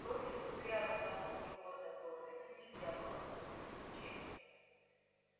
профиль кудрявой головки лорда дорвина нельзя было спутать ни с чем